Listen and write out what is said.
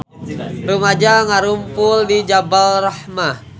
Rumaja ngarumpul di Jabal Rahmah